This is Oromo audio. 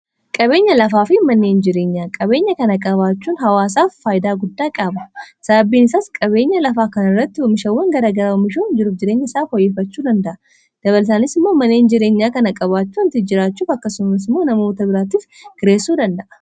qabeenya lafaa fi manneen jireenyaa qabeenya kana qabaachuun hawaasaaf faaydaa guddaa qaaba sababbiin isaas qabeenya lafaa kan irratti homishawwan garagaraomishuun jiruf jireenya isaaf hooyyifachuu danda'a dabalsaanis immoo manneen jireenyaa kana qabaachuun tijjiraachuuf akkasumas moo namoota biraatiif gireessuu danda'a